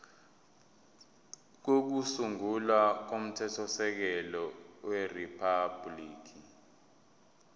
kokusungula komthethosisekelo weriphabhuliki